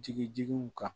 Jigi jigiw kan